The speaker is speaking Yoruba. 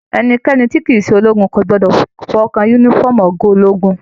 Ẹnikẹni tí kìí ṣe ológun o gbọdọ fọwọkàn yúnífọ̀ọ́mù ọgá ológun.